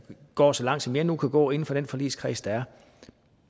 går så langt som jeg nu kan gå inden for den forligskreds der er